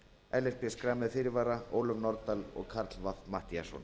ellert b schram með fyrirvara ólöf nordal og karl fimmti matthíasson